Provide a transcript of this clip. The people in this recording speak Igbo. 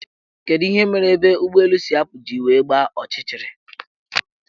Kedu ihe mere ebe ụgbọelu si apụ ji wee gbaa ọchịchịrị?